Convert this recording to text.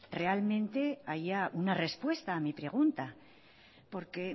realmente haya una respuesta a mi pregunta porque